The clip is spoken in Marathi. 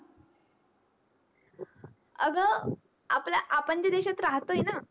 अगं आपल्या आपण ज्या देशात राहतोय ना